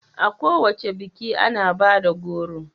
A kowace biki ana bada goro